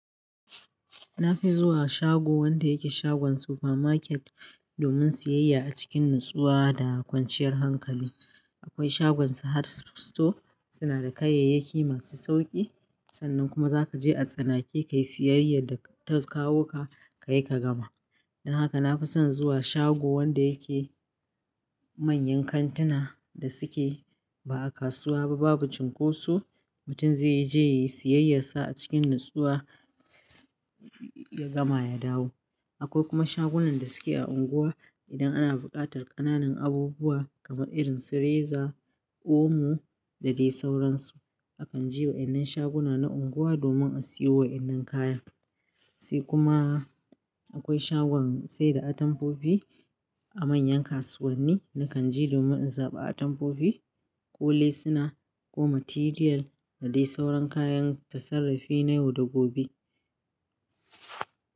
Na fi zuwa shago wanda yake shagon supermarket domin siyayya a cikin natsuwa da kwanciyar hankali. Akwai shagon Sahad Store suna da kayayyaki masu sauƙi. Sannan kuma za ka je a tsanake, ka yi siyayyar da ta kawo ka, ka yi ka gama. Don haka na fi son zuwa shago wanda yake manyan kantuna da suke ba'a kasuwa ba, babu cunkoso. Mutum zai je ya yi siyayyar sa a cikin natsuwa, ya gama ya dawo. Akwai kuma shagunan da suke a unguwa idan ana buƙatar ƙananan abubuwa kamar irin su reza, omo da dai sauransu. A kan je wa yannan shaguna na unguwa domin a siyo wa wannan kaya. Sai kuma akwai shagon sai da atamfofi a manyan kasuwanni na kan je domin in zaɓi atamfofi, ko lesuna ko material da dai sauran kayan tasarrafi na yau da gobe.